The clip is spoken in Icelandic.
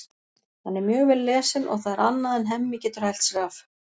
Hann er mjög vel lesinn og það er annað en Hemmi getur hælt sér af.